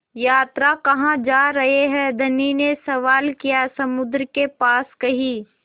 यात्रा कहाँ जा रहे हैं धनी ने सवाल किया समुद्र के पास कहीं